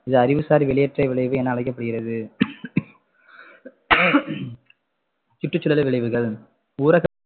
இது அறிவுசார் வெளியேற்ற விளைவு என அழைக்கப்படுகிறது சுற்றுசூழல் விளைவுகள்